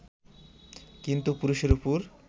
কিন্তু পুরুষের ওপর